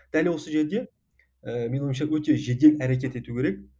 дәл осы жерде ііі менің ойымша өте жедел әрекет ету керек